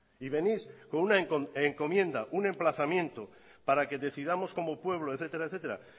y venís con una encomienda un emplazamiento para que decidamos como pueblo etcétera etcétera